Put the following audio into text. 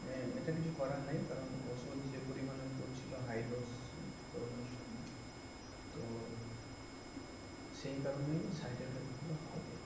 তবে এতে কিছু করার নেই ঔষধ যে পরিমাণে পড়তেছিল হাইডোজ করুনার সময় তো সেই কারণেই সাইড ইফেক্ট তো হবেই